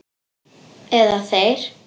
Eða þeir.